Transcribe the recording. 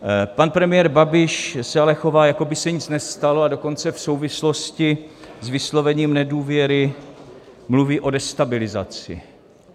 Pan premiér Babiš se ale chová, jako by se nic nestalo, a dokonce v souvislosti s vyslovením nedůvěry mluví o destabilizaci.